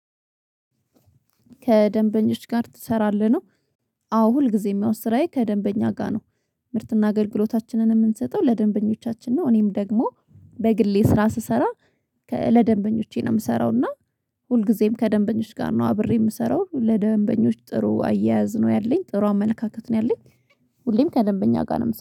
ከደንበኞች ጋር ትሰራለህ ነው? አዎ ሁልጊዜም ያው ስራዬ ከደንበኛ ጋር ነው። ምርትና አገልግሎታችንን ምንሰጠው ለደንበኞቻችን ነው። እኔም ደግሞ በግሌ ስራ ስሰራ ለደንበኞቼ ነው ምሰራው። እና ሁልጊዜም ከደንበኞች ጋር ነው አብሬ ምሰራው ለደንበኞች ጥሩ አያያዝ ነው ያለኝ ጥሩ አመለካከት ነው ያለኝ። ሁሌም ከደንበኛ ጋር ነው